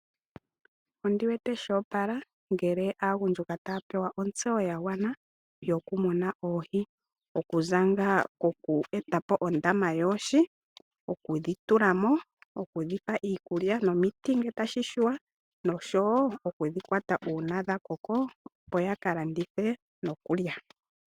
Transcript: Onsiwete sho opala ngele aagundjuka taya pewa ontseyo ya gwana yoku muna oohi kokuza koku etapo ondama yoohi, okudhi tulamo, okudhipa iikulya nomiti ngeke tashishiwa nokudhi kwata uuna dha koko opo yaka landithe noku lya.